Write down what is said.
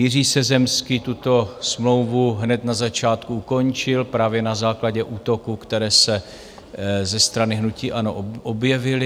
Jiří Sezemský tuto smlouvu hned na začátku ukončil právě na základě útoků, které se ze strany hnutí ANO objevily.